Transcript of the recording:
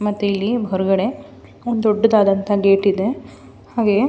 ಮತ್ತೆ ಇಲ್ಲಿ ಹೊರಗಡೆ ಒಂದು ದೊಡ್ದುದಾದಂತಹ ಗೇಟ್ ಇದೆ ಹಾಗೆ --